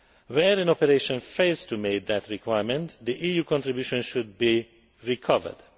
Where an operation fails to meet that requirement, the EU contribution should be recovered.